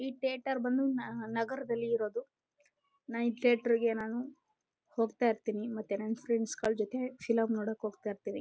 ಈ ಥಿಯೇಟರ್ ಬಂದು ನಗರದಲ್ಲಿ ಇರೋದು ನೈಟ್ ಥಿಯೇಟರ್ಗೆ ಹೋಗ್ತಾ ಇರ್ತಿನಿ ಮತ್ತೆ ನನ್ ಫ್ರೆಂಡ್ಸ್ಗಳ ಜೊತೆ ಫಿಲಂ ನೋಡಕ್ಕೆ ಹೋಗ್ತಾ ಇರ್ತಿನಿ.